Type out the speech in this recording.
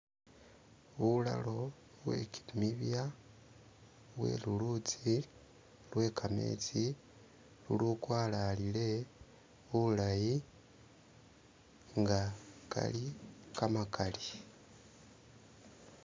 Bulalo bwe kimibya, bwe lulutsi, lwe kametsi ulukwalalile bulayi, nga kali kamakaali.